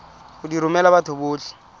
go di romela batho botlhe